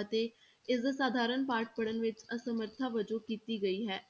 ਅਤੇ ਇਸਦਾ ਸਾਧਾਰਨ ਪਾਠ ਪੜ੍ਹਣ ਵਿੱਚ ਅਸਮਰਥਾ ਵਜੋਂ ਕੀਤੀ ਗਈ ਹੈ।